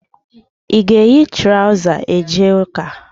Ị ga-eyi traụza a jee ụ́kà?